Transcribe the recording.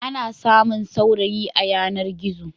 Ana samun saurayi a yanar-gizo.